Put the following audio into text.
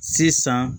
Sisan